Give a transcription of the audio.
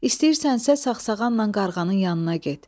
İstəyirsənsə saqsağanla qarğanın yanına get.